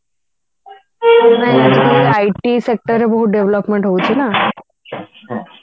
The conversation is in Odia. ଆମର IT sector ରେ ବହୁତ development ହଉଛି ନା